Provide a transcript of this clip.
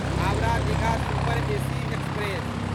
Howrah Digha super AC express